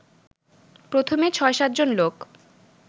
প্রথমে ছয়-সাতজন লোক